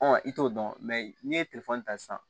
i t'o dɔn n'i ye ta sisan